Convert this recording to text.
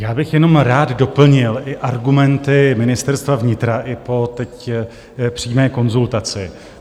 Já bych jenom rád doplnil i argumenty Ministerstva vnitra i teď, po přímé konzultaci.